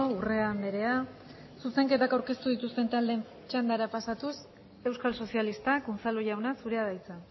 urrea andrea zuzenketak aurkeztu dituzten taldeen txandara pasatuz euskal sozialistak unzalu jauna zurea da hitza